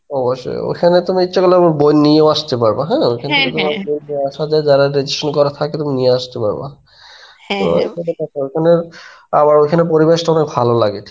অবশ্যই অবশ্যই এখানে তুমি ইচ্ছে করতে বই নিয়েও আসতে পারো হ্যাঁ. দেখা যাই যারা registration করা থাকে তুমি নিয়া আসতে পারবা. আমার ওখানে পরিবেশটা অনেক ভালো লাগে.